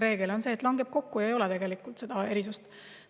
Reegel on see, et need langevad kokku ja ei ole tegelikult seda erisust.